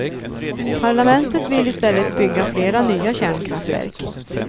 Parlamentet vill i stället bygga flera nya kärnkraftverk.